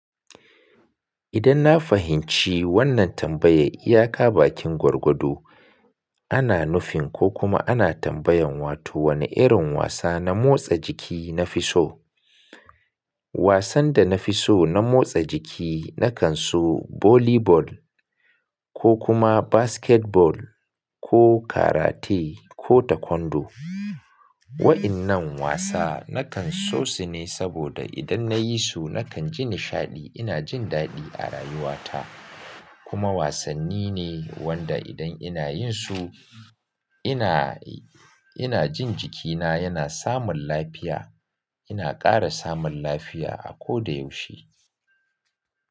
Idan na fahimci wannan tambayar, iyaka bakin gwargwado, ana nufin ko kuma ana tambayan wato wani irin wasa na motsa jiki na fi so? Wasan da na fi so na motsa jiki, na kan so volley ball ko kuma basketball ko karate ko taekwondo. Wa'innan wasa na kan so su ne saboda idan na yi su na kan ji nishaɗi, ina jin daɗi a rayuwata. Kuma wasanni ne wanda idan ina yin su ina, ina jin jikina yana samun lafiya. Ina ƙara samun lafiya a koda yaushe.